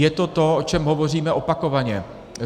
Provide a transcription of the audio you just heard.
Je to to, o čem hovoříme opakovaně.